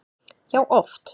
Já, oft